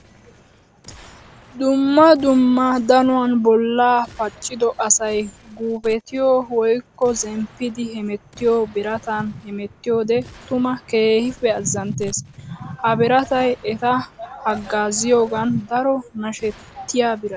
Dumma dumma danuwan bolla pacciddo asay guupettiyo woykko zemppiddi hemettiyo biratan hemetiyoode tuma keehippe azanttes. Ha biratay etta hagaaziyoogan daro nashettiya birata.